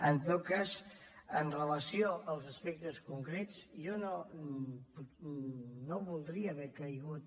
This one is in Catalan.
en tot cas amb relació als aspectes concrets jo no voldria haver caigut